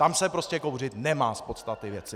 Tam se prostě kouřit nemá z podstaty věci.